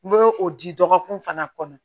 N bɛ o di dɔgɔkun fana kɔnɔ